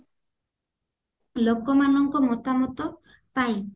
ଲୋକମାନଙ୍କ ମତାମତ ପାଇଁ